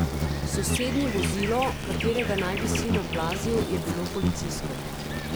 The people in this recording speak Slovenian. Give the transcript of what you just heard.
Sosednje vozilo, katerega naj bi sin oplazil, je bilo policijsko.